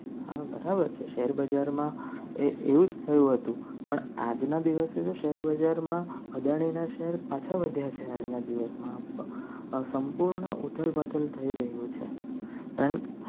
હા બરાબર છે. શેર બજારમાં એ એવું જ થયું હતું. પણ આજના દિવસે શેર બજારમાં અદાણીના શહેર પાછા વળ્યા છે. આજના દિવસમાં સંપૂર્ણ થઈ રહ્યું છે.